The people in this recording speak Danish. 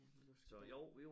Jamen nu skal det